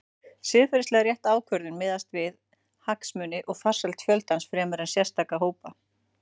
Siðferðilega rétt ákvörðun miðast því við hagsmuni og farsæld fjöldans fremur en sérstakra hópa.